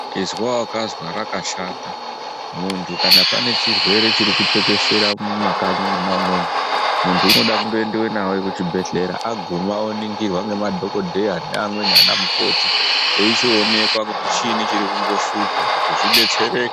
Izwa wakazwa rakashata mundu kana pane chirwere chiri kutekeshera mumakanyi umwomwo, mundu unoda kungoendwa naye kuzvibhedhlera aguma oningirwa nemadhokodhaya neamweni ana mukoti aichionekwa kuti chini chiri kumboshupa kuti zvibetsereke.